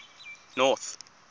north